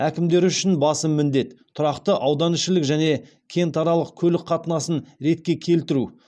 әкімдері үшін басым міндет тұрақты ауданішілік және кентаралық көлік қатынасын ретке келтіру